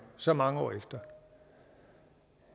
så mange år efter